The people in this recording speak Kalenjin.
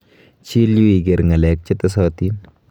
Chil yu iker ng'alek chetesotin.